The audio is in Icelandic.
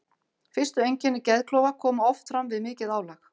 Fyrstu einkenni geðklofa koma oft fram við mikið álag.